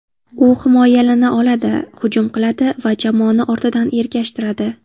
U himoyalana oladi, hujum qiladi va jamoani ortidan ergashtiradi.